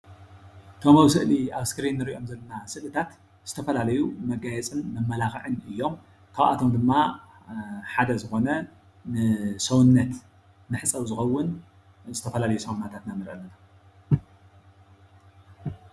እቶም ስእሊ ኣብ እስክሪን እንሪኦም ዘለና ምስልታት ዝተፈላለዩ መጋየፅን መመላክዕን እዮም፡፡ ካብ ኣቶም ድማ ሓደ ዝኮነ ንሰውነት መሕፀቢ ዝከውን ዝተፈላለዩ ሳሙናታት ኢና ንሪኢ አለና፡፡